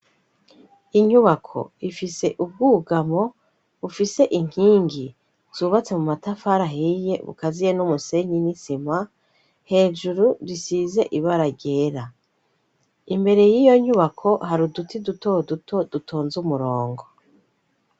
Inyubako ifise ubwugamo bufise inkingi zubatse mu matafara ahiye bukaziye n'umusenyi nisima hejuru bisize ibaragera imbere y'iyo nyubako hari uduti duto duto dutonze umurongo.